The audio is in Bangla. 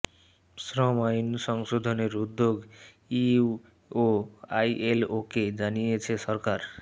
শ্রম আইন সংশোধনের উদ্যোগ ইইউ ও আইএলওকে জানিয়েছে সরকার